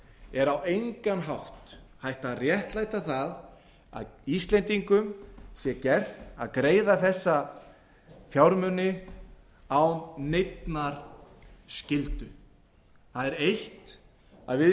er á engan hátt hægt að réttlæta að íslendingum sé gert að greiða þessa fjármuni án neinnar skyldu það er eitt að við